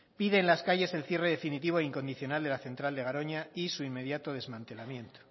pide en las calles el cierre definitivo e incondicional de la central de garoña y su inmediato desmantelamiento